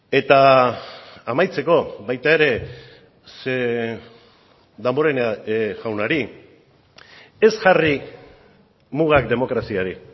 eta amaitzeko baita ere ze damborenea jaunari ez jarri mugak demokraziari